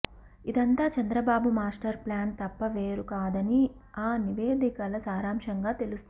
ఇదంతా Chandrababu master plan తప్ప వేరు కాదని ఆ నివేదికల సారాంశంగా తెలుస్తోంది